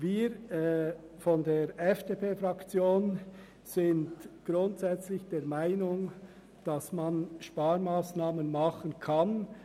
Wir von der FDP-Fraktion sind grundsätzlich der Meinung, man könne Sparmassnahmen vornehmen.